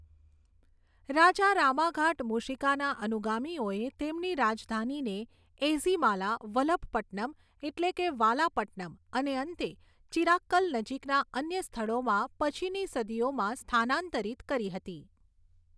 રાજા રામાઘાટ મૂશિકાના અનુગામીઓએ તેમની રાજધાનીને એઝીમાલા, વલભપટ્ટનમ, એટલે કે વાલાપટ્ટનમ, અને અંતે ચિરાક્કલ નજીકના અન્ય સ્થળોમાં, પછીની સદીઓમાં સ્થાનાંતરિત કરી હતી.